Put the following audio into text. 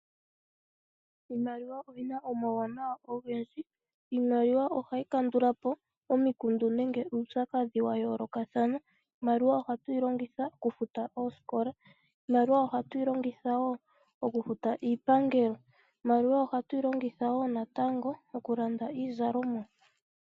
Iimaliwa oyi na omauwanawa ogendji oshoka ohayi kandulapu omikundu nenge uupyakadhi wa yoolokathana. Ohatu yi longitha okufuta oosikola, iipangelo noshowo okulanda iizalomwa.